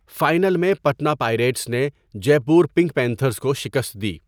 Final میں Patna Pirates نے Jaipur Pink Panthers کو شکست دی۔